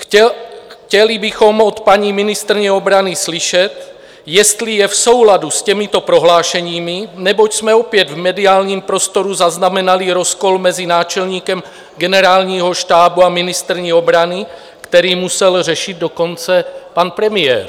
Chtěli bychom od paní ministryně obrany slyšet, jestli je v souladu s těmito prohlášeními, neboť jsme opět v mediálním prostoru zaznamenali rozkol mezi náčelníkem Generálního štábu a ministryní obrany, který musel řešit dokonce pan premiér.